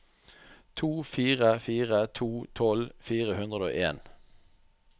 to fire fire to tolv fire hundre og en